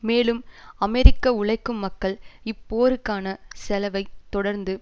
மேலும் அமெரிக்க உழைக்கும் மக்கள் இப்போருக்கான செலவைக் தொடர்ந்து